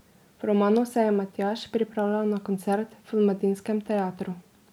V romanu se je Matjaž pripravljal na koncert v Mladinskem teatru.